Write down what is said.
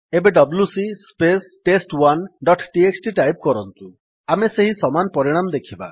ଏବେ WC space test one dot TXT type କରନ୍ତୁ ଆମେ ସେହି ସମାନ ପରିଣାମ ଦେଖିବା